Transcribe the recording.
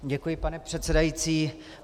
Děkuji, pane předsedající.